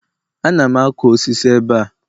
Ana m akụ osisi ebe a.